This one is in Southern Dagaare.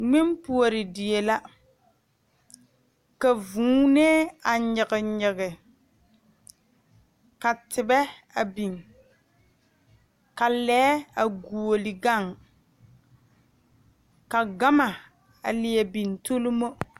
Zie kaŋa la ka ba koɔrɔ kaayɛ a kaayɛ yagle la setɔɔrɛɛ nimitɔɔre noba waa la yaga a kpeɛrɛ a be dɔɔ kaŋ su la kpar peɛle nuwoori a pɛgele kɔŋkɔlee ane Kóɔ a dɔɔ seɛ la kuri sɔgelaa wogi